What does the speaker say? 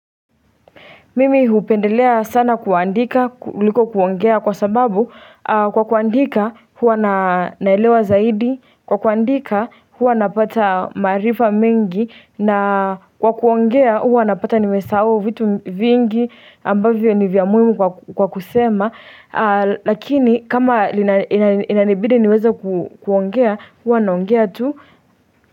Mimi hupendelea sana kuandika kuliko kuongea kwa sababu kwa kuandika huwa naelewa zaidi kwa kuandika huwa napata maarifa mingi na kwa kuongea huwa napata nimesahau vitu vingi ambavyo ni vya muhimu kwa kusema lakini kama inanibidi niweza kuongea huwa naongea tu.